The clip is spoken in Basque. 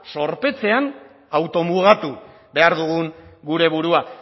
zorpetzean automugatu behar dugun gure burua